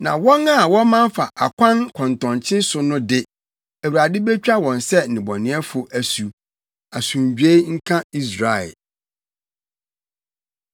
Na wɔn a wɔman fa akwan kɔntɔnkye so no de, Awurade betwa wɔn ne nnebɔneyɛfo asu. Asomdwoe nka Israel.